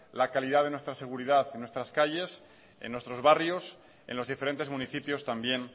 la calidad de nuestra seguridad en nuestras calles en nuestros barrios en los diferentes municipios también